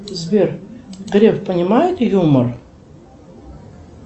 сбер греф понимает юмор